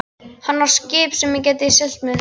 Hann á skip sem ég get kannski siglt með.